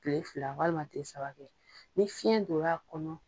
Kile fila walima kile saba ni fiyɛn dor'a kɔnɔ